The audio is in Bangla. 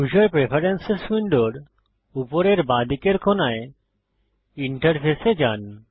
ইউসার প্রেফেরেন্সেস উইন্ডোর উপরের বাঁদিকের কোণায় ইন্টারফেস এ যান